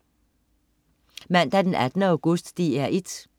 Mandag den 18. august - DR 1: